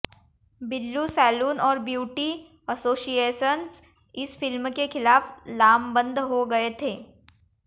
Billu salon और beauty associations इस film के खिलाफ लामबंद हो गए थे